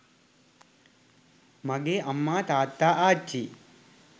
මගේ අම්මා තාත්තා ආච්චි